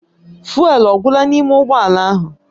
Fụ́élú ọ gwụla n'ime ụgbọ ala ahụ?